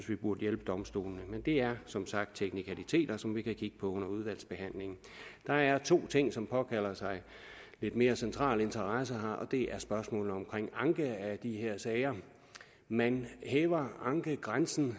vi burde hjælpe domstolene men det er som sagt teknikaliteter som vi kan kigge på under udvalgsbehandlingen der er to ting som påkalder sig lidt mere central interesse og det er spørgsmålene omkring anke af de her sager man hæver ankegrænsen